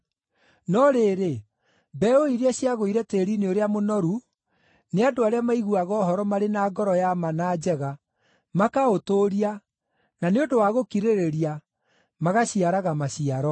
No rĩrĩ, mbeũ iria ciagũire tĩĩri-inĩ ũrĩa mũnoru nĩ andũ arĩa maiguaga ũhoro marĩ na ngoro ya ma na njega, makaũtũũria, na nĩ ũndũ wa gũkirĩrĩria, magaciaraga maciaro.